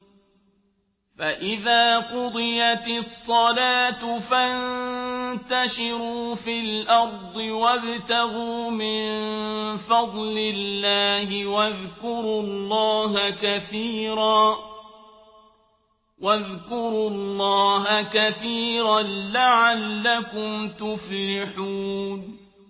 فَإِذَا قُضِيَتِ الصَّلَاةُ فَانتَشِرُوا فِي الْأَرْضِ وَابْتَغُوا مِن فَضْلِ اللَّهِ وَاذْكُرُوا اللَّهَ كَثِيرًا لَّعَلَّكُمْ تُفْلِحُونَ